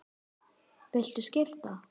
Viltu skipta?